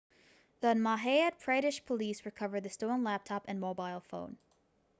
the madhya pradesh police recovered the stolen laptop and mobile phone